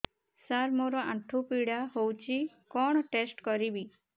ସାର ମୋର ଆଣ୍ଠୁ ପୀଡା ହଉଚି କଣ ଟେଷ୍ଟ କରିବି